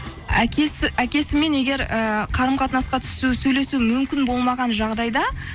әкесімен егер ііі қарым қатынасқа түсу сөйлесу мүмкін болмаған жағдайда